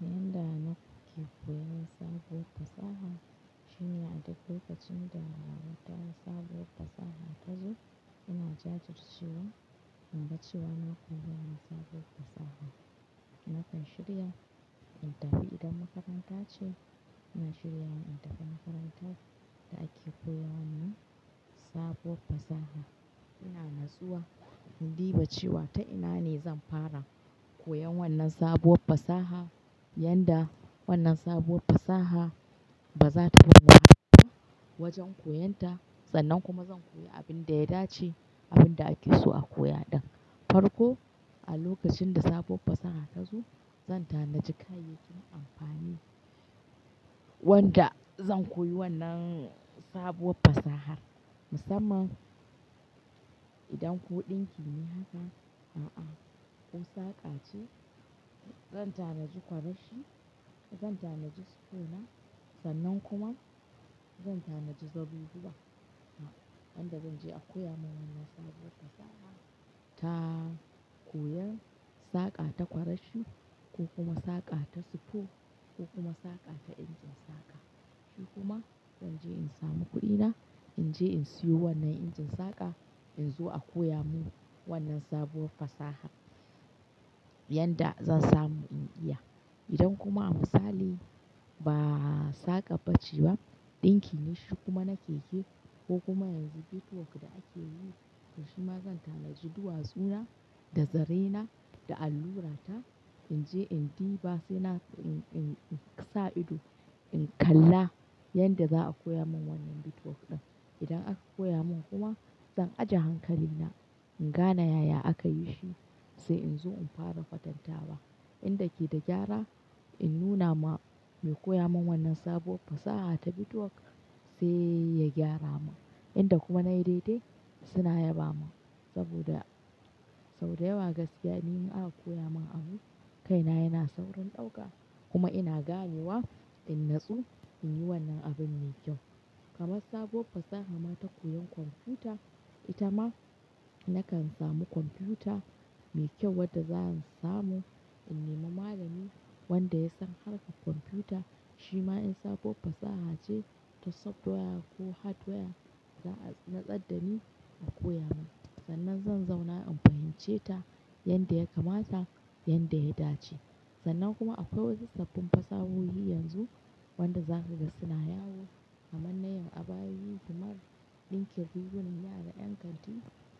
Yanda nake koyan sabuwar fasaha, shine a duk lokacin da naga sabuwar fasaha ta zo, ina jajircewa inga cewa na koya sabuwar fasaha. Nakan shirya, in tafi idan makaranta ce, ina shirya wa in tafi makarantar da ake koyawannan, sabuwar fasaha. Ina natsuwa, in diba cewa ta ina ne zan fara, koyan wannan sabuwar fasaha, yanda wannan sabuwar fasaha, ba za ta bam wajen koyon ta, sannan kuma zan koya abin da ya dace, abin da ake so a koya ɗin. Farko, a lokacin da sabuwar fasaha ta zo, zan tanaji kayyakin amfani, wanda zan koyi wannan sabuwar fasahar. Musamman, idan ko ɗinki ne haka, a'a, ko saƙa ce, zan tanaji kwarashi, zan tanaji sufo na, sannan kuma zan tanaji zabubuwa. Yanda zan je a koya mun wannan sabuwar fasaha, ta, koyan saƙa ta kwarashi, ko kuma saƙa ta sufo, ko kuma saƙa ta injin saƙa. Shi kuma zan je in samu kuɗina, in je in siyo wannan injin saƙa, in zo a koya mun wannan sabuwar fasaha. Yanda zan samu in iya. Idan kuma a misali, ba saƙab bace ba, ɗinki ne shi kuma na keke, ko kuma yanzu bitwok da ake yi, to shima zan tanaji duwatsu na, da zare na, da allura ta, in je in diba sai na-in-in sa ido, in kalla yanda za a koya mun wannan bitcoin ɗin. Idan aka koya mun kuma, zan aje hankali na, in gane yaya aka yi shi, sai in zo in fara kwatanta wa. Inda ke da gyara, in nuna ma mai koya mun wannan sabuwar fasaha ta bitwok, sai ya gyara mun. Inda kuma nayi dai-dai, suna yaba mun, saboda, sau da yawa gaskiya ni in aka koya mun abu, kaina yana saurin ɗauka, kuma ina gane wa, in natsu in yi wannan abun mai kyau. Kaman sabuwar fasaha ma ta koyan kwamfuta, ita ma, nakan samu kwamfuta, mai kyau wadda zan samu, in nema malami wanda ya san harka kwamfuta, shima in sabuwar fasaha ce ta software ko hardware, za'a natsaddani a koya mun. Sannan zan zauna in fahimce ta, yanda ya kamata, yanda ya dace. Sannan kuma akwai wasu sabbin fasahohi yanzu, wanda za kaga suna yawo, kamar na yin abayoyi, kamar ɗinkin rigunan yara ƴan kanti,